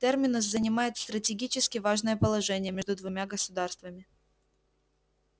терминус занимает стратегически важное положение между двумя государствами